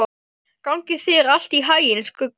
Gangi þér allt í haginn, Skugga.